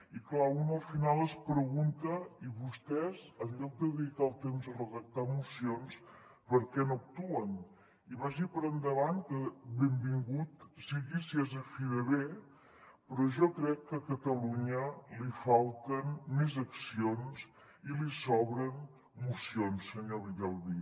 i clar un al final es pregunta i vostès en lloc de dedicar el temps a redactar mocions per què no actuen i vagi per endavant que benvingut sigui si és a fi de bé però jo crec que a catalunya li falten més accions i li sobren mocions senyor villalbí